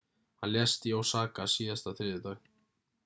hann lést í osaka síðasta þriðjudag